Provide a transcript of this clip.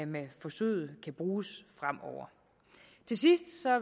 med forsøget kan bruges fremover til sidst